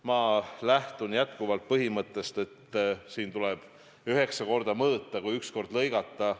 Ma lähtun jätkuvalt põhimõttest, et siin tuleb üheksa korda mõõta, enne kui üks kord lõigata.